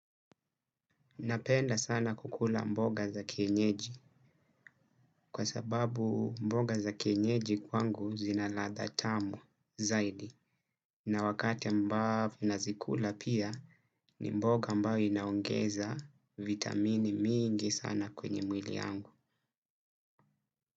Napenda sana kukula mboga za kienyeji kwa sababu mboga za kienyeji kwangu zina ladha tamu zaidi. Na wakati ambavo nazikula pia ni mboga ambayo inaongeza vitamini mingi sana kwenye mwili yangu.